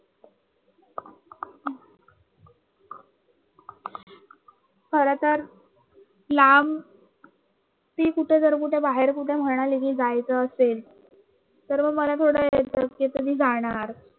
खरंत लां ती कुठे जर बाहेर कुठ म्हणाली की जायचं लांब जायचं असेल त तर मग मला येत कि तुम्ही जाणार